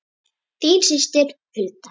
Þín systir Hulda.